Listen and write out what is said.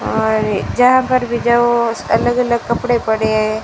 और जहां पर भी जाओ बस अलग अलग कपड़े पड़े है।